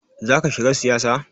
Zaka shiga siyasa?